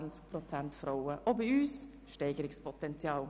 Auch bei uns gibt es somit Steigerungspotenzial.